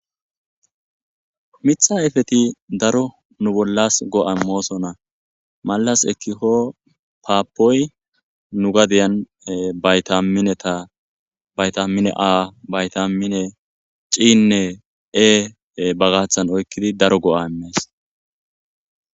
mitha ayfeti daro nu bollas go7a moosonna malas ekkikko paappoy nu gadiyan baytaminetabayta mine a bayta mine ciinne e ba gaaththan oykkidi daro go7a imees